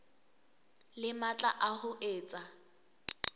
le matla a ho etsa